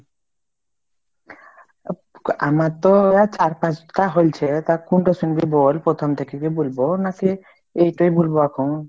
আমার তো আহ চার পাঁচটা হোলছে তা কুনটোর সঙ্গে বল, প্রথম থেকে কি বলবো? না সে এইটাই বলবো এখন?